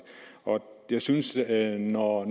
og jeg synes at når